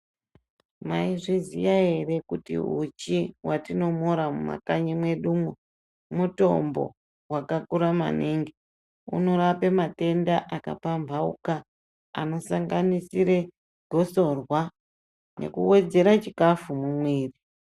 Maizviziya ere kuti uchi watino n'ora mumakanyi mwedumwo, mutombo wakakura maningi, unorape matenda akapambawuka akasanganisire gotsorwa nekuwedzere chikhafu mumwiri.